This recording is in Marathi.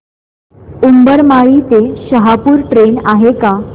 उंबरमाळी ते शहापूर ट्रेन आहे का